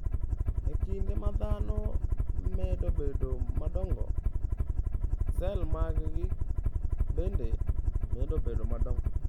E kinde ma dhano medo bedo madongo, sel maggi bende medo bedo madongo.